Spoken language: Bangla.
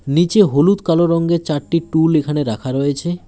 নীচে হলুদ কালো রঙ্গের চারটি টুল এখানে রাখা রয়েছে।